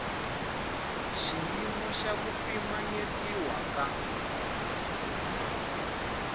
xiyimo xa ku pimanyetiwa ka